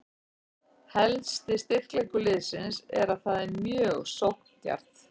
Helsti styrkleikur liðsins er að það er mjög sókndjarft.